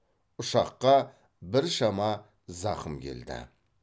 ұшаққа біршама зақым келді